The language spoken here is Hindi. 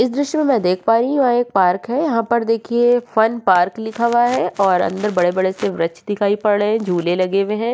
इस दृश्य में मैं देख पा रही हूँ यह एक पार्क है। यहाँ पर देखिये फन पार्क लिखा हुआ है और अंदर बड़े-बड़े से वृक्ष दिखाई पड़ रहे हैं झूले लगे हुए हैं।